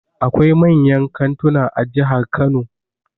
Akwai manyan kantuna a jihar Kano.